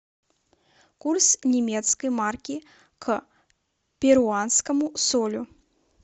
курс немецкой марки к перуанскому солю